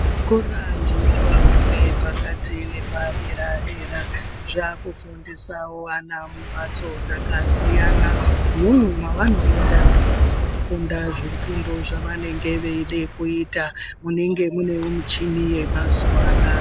Zvikora zvinopa fundo yepakati nepadera-dera, zvaakufundisa vana mumphatso dzakasiyana, mune mavanoenda veinofunda zvifundo zvavanenge veida kuita, munenge munewo michini yemazuva anaya.